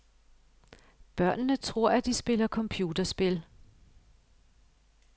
Børnene tror, at de spiller computerspil.